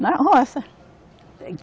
Na roça.